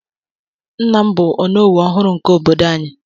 Nna m bụ onowu ọhụrụ nke obodo anyị.